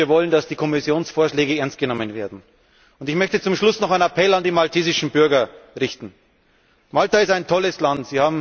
Und wir wollen, dass die Kommissionsvorschläge ernst genommen werden. Zum Schluss möchte ich noch einen Appell an die maltesischen Bürger richten Malta ist ein tolles Land.